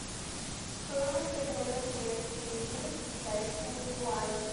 стоимость обмена турецкой лиры к китайскому юаню